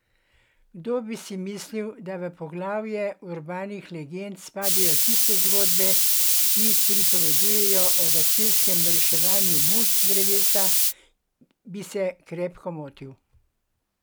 Kdor bi si mislil, da v poglavje urbanih legend spadajo tiste zgodbe, ki pripovedujejo o gasilskem reševanju muc z drevesa, bi se krepko motil.